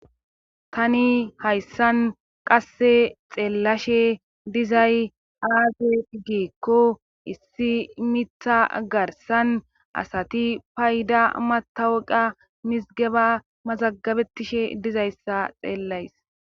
tani hayssan qasse xeellashe dizay aage igeekko issi mitha garsan asati payda matawuqa mizgeba mazagabetishe dizayssa xeellays